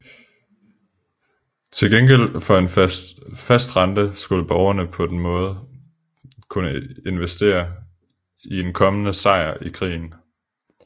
Til gengæld for en fast rente skulle borgerne på den måde kunne investere i en kommende sejr i krigen